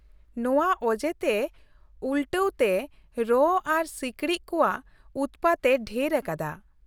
ᱱᱚᱶᱟ ᱚᱡᱮᱛᱮ ᱩᱞᱴᱟᱹᱣ ᱛᱮ ᱨᱚᱸ ᱟᱨ ᱥᱤᱠᱬᱤᱠ ᱠᱚᱣᱟᱜ ᱩᱛᱢᱟᱛ ᱮ ᱰᱷᱮᱨ ᱟᱠᱟᱫᱟ ᱾